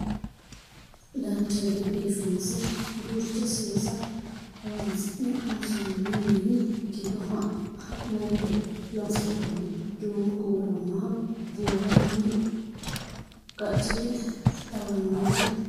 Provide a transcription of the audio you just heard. dancha gede biifinse duucha seesa horonsi'ne loonsoonni mini giddo ha'nani doogo loonse worroonni duumo kuula lawanoha buurroonni qaccete xawannore woroonnite